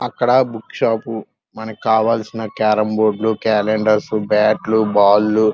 అక్కడ book shop మనకి కావాల్సిన క్యారమ్ బోర్డు క్యాలెండర్స్ బాట్లు బాల్ --